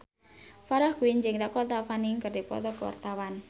Farah Quinn jeung Dakota Fanning keur dipoto ku wartawan